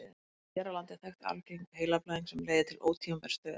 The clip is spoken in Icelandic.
hér á landi er þekkt arfgeng heilablæðing sem leiðir til ótímabærs dauða